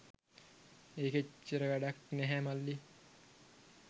ඒක එච්චර වැඩක් නැහැ මල්ලි.